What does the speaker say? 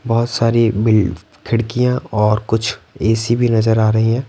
बहुत सारी बिल्ड खिड़कियां और कुछ ए_ सी_ भी नजर आ रही हैं।